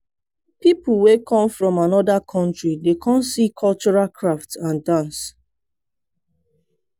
people wey come from anoda country dey come see cultural craft and dance.